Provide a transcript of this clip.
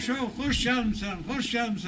Abışov, xoş gəlmisən, xoş gəlmisən.